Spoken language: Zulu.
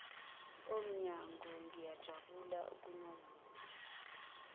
omnyango ngiyajabula ukunazisa